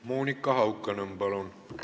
Monika Haukanõmm, palun!